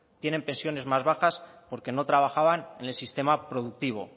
tienen pensiones más bajas porque no trabajaban en el sistema productivo